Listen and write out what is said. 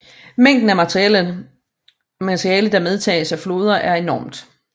Mængden af materiale der medtages af floder er enormt